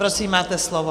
Prosím, máte slovo.